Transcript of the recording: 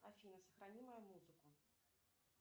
афина сохрани мою музыку